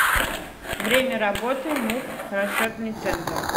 время работы муп расчетный центр